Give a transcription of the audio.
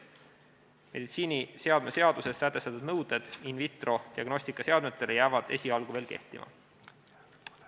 Meditsiiniseadme seaduses sätestatud nõuded in vitro diagnostikameditsiiniseadmetele jäävad esialgu veel kehtima.